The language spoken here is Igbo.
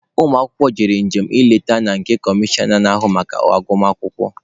Ụmụ akwụkwọ gara njem nleta na nke comishọna na-ahụ maka agụmakwụkwọ.